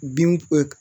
Bin